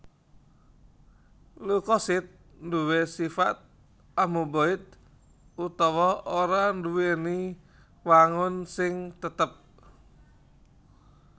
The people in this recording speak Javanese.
Leukosit duwé sifat amuboid utawa ora nduwèni wangun sing tetep